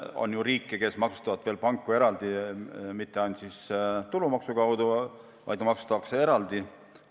On ju riike, kes maksustavad panku veel eraldi – mitte ainult tulumaksuga, vaid ka eraldi maksuga.